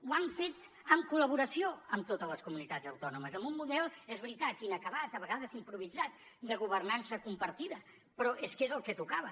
ho han fet en col·laboració amb totes les comunitats autònomes amb un model és veritat inacabat a vegades improvisat de governança compartida però és que és el que tocava